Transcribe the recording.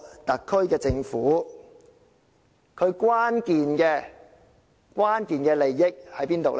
特區政府的關鍵利益在哪裏？